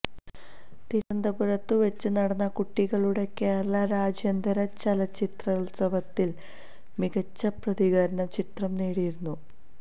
തിരുവനന്തപുരത്ത് വച്ച് നടന്ന കുട്ടികളുടെ കേരളാ രാജ്യാന്തര ചലചിത്രോത്സവത്തിൽ മികച്ച പ്രതികരണം ചിത്രം നേടിയിരുന്നു